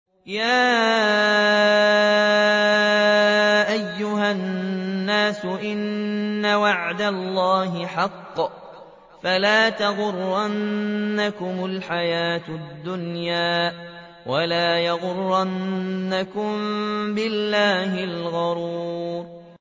يَا أَيُّهَا النَّاسُ إِنَّ وَعْدَ اللَّهِ حَقٌّ ۖ فَلَا تَغُرَّنَّكُمُ الْحَيَاةُ الدُّنْيَا ۖ وَلَا يَغُرَّنَّكُم بِاللَّهِ الْغَرُورُ